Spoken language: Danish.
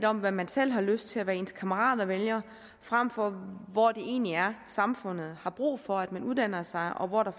om hvad man selv har lyst til og hvad ens kammerater vælger frem for hvor det egentlig er samfundet har brug for at man uddanner sig og hvor der